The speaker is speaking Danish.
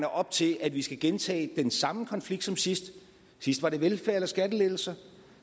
op til at vi skal gentage den samme konflikt som sidst sidst var det velfærd eller skattelettelser og